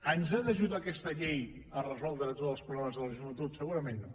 ens ha d’ajudar aquesta llei a resoldre tots els problemes de la joventut segurament no